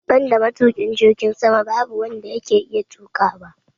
Banda matuki jirgin sama babu wanda yake iya tuƙawa